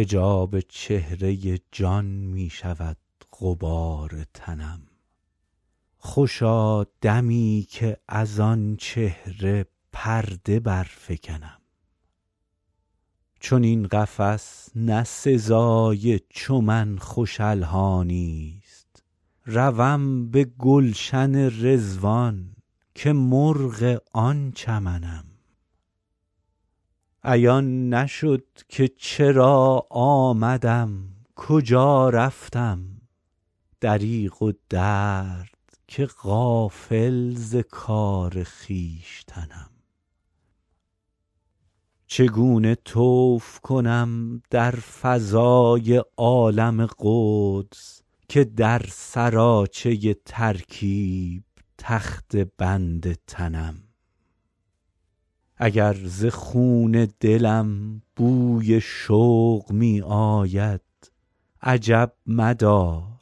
حجاب چهره جان می شود غبار تنم خوشا دمی که از آن چهره پرده برفکنم چنین قفس نه سزای چو من خوش الحانی ست روم به گلشن رضوان که مرغ آن چمنم عیان نشد که چرا آمدم کجا رفتم دریغ و درد که غافل ز کار خویشتنم چگونه طوف کنم در فضای عالم قدس که در سراچه ترکیب تخته بند تنم اگر ز خون دلم بوی شوق می آید عجب مدار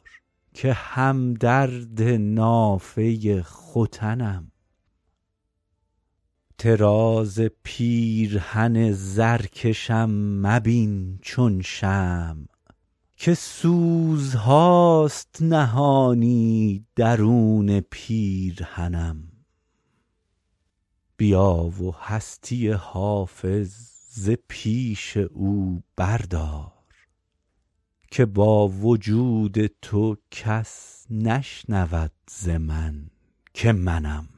که هم درد نافه ختنم طراز پیرهن زرکشم مبین چون شمع که سوزهاست نهانی درون پیرهنم بیا و هستی حافظ ز پیش او بردار که با وجود تو کس نشنود ز من که منم